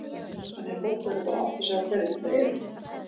Þannig að fólk verður bara að átta sig á hverjir þetta eru?